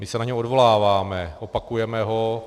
My se na něj odvoláváme, opakujeme ho.